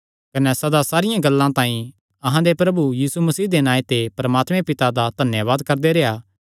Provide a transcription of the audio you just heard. कने सदा सारियां गल्लां तांई अहां दे प्रभु यीशु मसीह दे नांऐ ते परमात्मे पिता दा धन्यावाद करदे रेह्आ